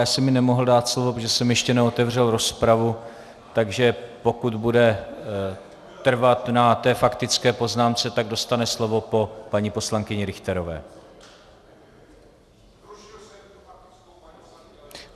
Já jsem jí nemohl dát slovo, protože jsem ještě neotevřel rozpravu, takže pokud bude trvat na té faktické poznámce, tak dostane slovo po paní poslankyni Richterové.